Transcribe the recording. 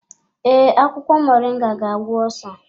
Ee, akwụkwọ moringa ga-agwọ osa.